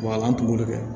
Wa a ka kungo de kɛ